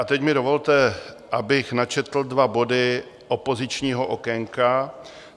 A teď mi dovolte, abych načetl dva body opozičního okénka.